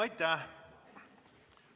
Aitäh!